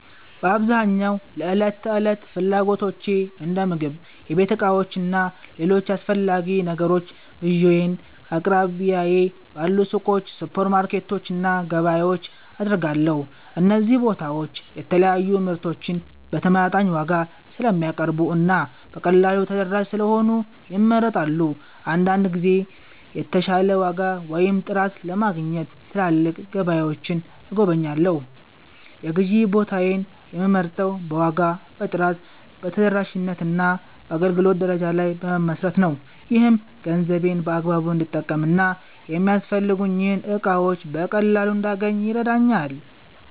በአብዛኛው ለዕለት ተዕለት ፍላጎቶቼ እንደ ምግብ፣ የቤት ዕቃዎች እና ሌሎች አስፈላጊ ነገሮች ግዢዬን ከአቅራቢያዬ ባሉ ሱቆች፣ ሱፐርማርኬቶች እና ገበያዎች አደርጋለሁ። እነዚህ ቦታዎች የተለያዩ ምርቶችን በተመጣጣኝ ዋጋ ስለሚያቀርቡ እና በቀላሉ ተደራሽ ስለሆኑ ይመረጣሉ። አንዳንድ ጊዜም የተሻለ ዋጋ ወይም ጥራት ለማግኘት ትላልቅ ገበያዎችን እጎበኛለሁ። የግዢ ቦታዬን የምመርጠው በዋጋ፣ በጥራት፣ በተደራሽነት እና በአገልግሎት ደረጃ ላይ በመመስረት ነው። ይህም ገንዘቤን በአግባቡ እንድጠቀም እና የሚያስፈልጉኝን እቃዎች በቀላሉ እንዳገኝ ይረዳኛል።